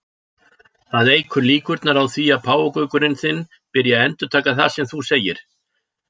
Það eykur líkurnar á því að páfagaukurinn þinn byrji að endurtaka það sem þú segir.